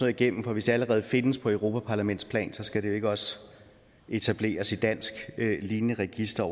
igennem for hvis der allerede findes på europaparlamentsplan skal der jo ikke også etableres et lignende dansk register